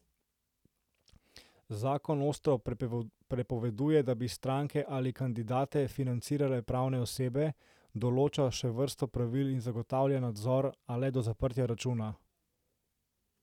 Zakon ostro prepoveduje, da bi stranke ali kandidate financirale pravne osebe, določa še vrsto pravil in zagotavlja nadzor, a le do zaprtja računa.